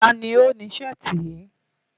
Ta ni ó ni Ṣẹ́ẹ̀tì yìí?